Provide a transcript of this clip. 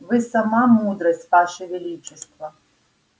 вы сама мудрость ваше величество